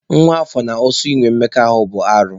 Nwa afọ na osu ịnwe mmekọ ahụ bụ arụ.